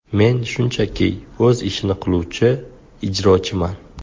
Men shunchaki o‘z ishini qiluvchi ijrochiman.